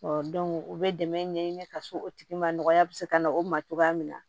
u bɛ dɛmɛ ɲɛɲini ka s'o tigi maya bɛ se ka na o ma cogoya min na